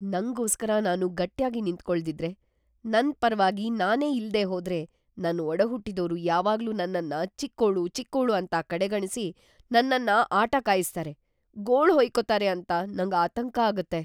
ನಂಗೋಸ್ಕರ ನಾನು ಗಟ್ಯಾಗಿ ನಿಂತ್ಕೊಳ್ದಿದ್ರೆ, ನನ್‌ ಪರವಾಗಿ ನಾನೇ ಇಲ್ದೇ ಹೋದ್ರೆ ನನ್ ಒಡಹುಟ್ಟಿದೋರು ಯಾವಾಗ್ಲೂ ನನ್ನನ್ನ ಚಿಕ್ಕೋಳು ಚಿಕ್ಕೋಳು ಅಂತ ಕಡೆಗಣ್ಸಿ ನನ್ನನ್ನ ಆಟ ಕಾಯಿಸ್ತಾರೆ, ಗೋಳ್‌ ಹುಯ್ಕೋತಾರೆ ಅಂತ ನಂಗ್‌ ಆತಂಕ ಆಗತ್ತೆ.